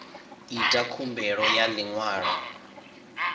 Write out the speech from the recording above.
ita khumbelo ya ḽi ṅwalo